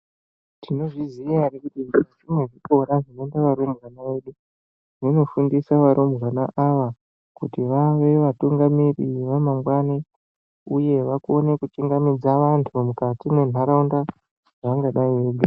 Tinozvi ziva here kuti zvinwe zvikora zvinoenda varumbwana vedu zvinofundisa varumbwana ava kuti vave vatungamiri vamangwani uye vakone kuchingamidza vantu mukati mwendaraunda dzavangadai veigara.